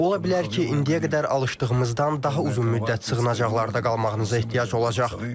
Ola bilər ki, indiyə qədər alışdığımızdan daha uzun müddət sığınacaqlarda qalmağınıza ehtiyac olacaq.